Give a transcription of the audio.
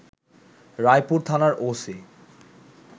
রায়পুর থানার ওসি